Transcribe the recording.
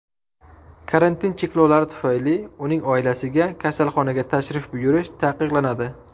Karantin cheklovlari tufayli uning oilasiga kasalxonaga tashrif buyurish taqiqlanadi.